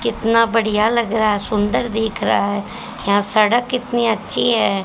कितना बढ़िया लग रहा है सुंदर दिख रहा है यहां सड़क कितनी अच्छी है।